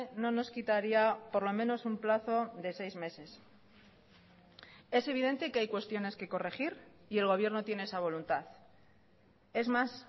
no nos quitaría por lo menos un plazo de seis meses es evidente que hay cuestiones que corregir y el gobierno tiene esa voluntad es más